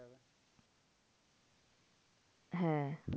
হ্যাঁ